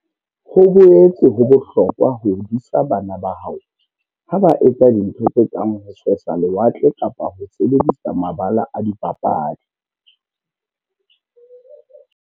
Ho boetse ho bohlokwa ho disa bana ba hao ha ba etsa dintho tse kang ho sesa lewatle kapa ho sebedisa mabala a dipapadi.